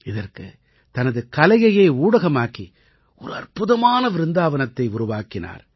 இதற்குத் தனது கலையையே ஊடகமாக்கி ஒரு அற்புதமான விருந்தாவனத்தை உருவாக்கினார்